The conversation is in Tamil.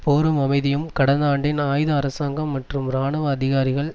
போரும் அமைதியும் கடந்த ஆண்டின் ஆயுத அரசாங்கம் மற்றும் இராணுவ அதிகாரிகள்